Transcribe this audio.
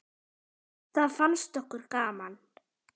Það fannst okkur gaman.